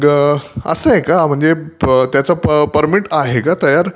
असं आहे का, म्हणजे त्याचं परमिट आहे का तयार